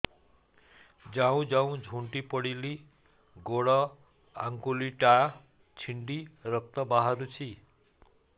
ଯାଉ ଯାଉ ଝୁଣ୍ଟି ପଡ଼ିଲି ଗୋଡ଼ ଆଂଗୁଳିଟା ଛିଣ୍ଡି ରକ୍ତ ବାହାରୁଚି